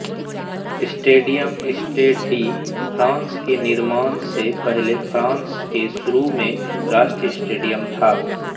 stadium Stade de France के निर्माण से पहले फ्रांस के शुरू में राष्ट्रीय स्टेडियम था